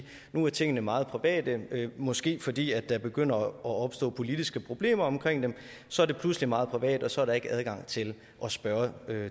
nu er tingene meget private måske fordi der begynder at opstå politiske problemer omkring dem så er det pludselig meget privat og så er der ikke adgang til at spørge